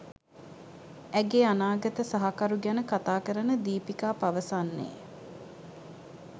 ඇගේ අනාගත සහකරු ගැන කතා කරන දීපිකා පවසන්නේ